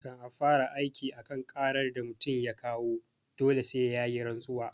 Kan a fara aiki a kan ƙarar da mutum ya kawo dole sai yayi rantsuwa